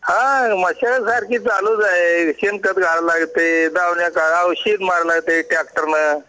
हा मशागत सारखी चालूच आहे शेण खत घालायला लागत औषध मारावा लागत ट्रॅक्टरनं